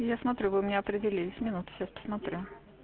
я смотрю вы у меня определись минуту сейчас посмотрю